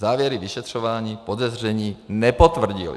Závěry vyšetřování podezření nepotvrdily."